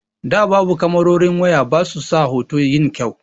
Da babu kamarorin waya basu sa hoto yin kyau.